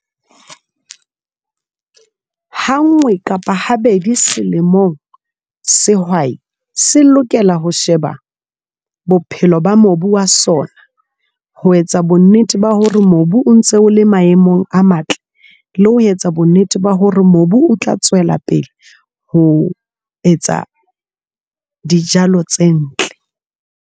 Ha nngwe kapa ha bedi selemong sehwai se lokela ho sheba bophelo ba mobu wa sona ho etsa bonnete ba hore mobu o ntse ole maemong a matle, le ho etsa bonnete ba hore mobu o tla tswela pele ho etsa dijalo tse ntle.